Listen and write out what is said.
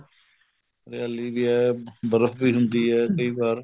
ਹਰਿਆਲੀ ਵੀ ਹੈ ਬਰਫ਼ ਵੀ ਪੈਂਦੀ ਹੈ ਕਈ ਵਾਰ